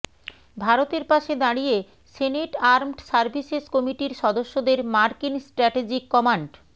ভারতের পাশে দাঁড়িয়ে সেনেট আর্মড সার্ভিসেস কমিটির সদস্যদের মার্কিন স্ট্র্যাটেজিক কম্যান্ড